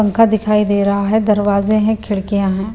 पंखा दिखाई दे रहा है दरवाजे हैं खिड़कियां हैं।